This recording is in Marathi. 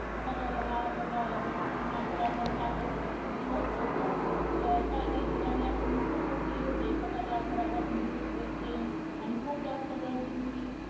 स्वतः च्या गावाकडे जावं लागल होत जस कि मागे lock down लागलं होतं तं खूप दिवस लोकं काही काही ठिकाणी असेच नुसते बसलेले होते आणि स्वतः च्या घरापासून दूर व एकटे आणि जास्त खुप गर्दी होती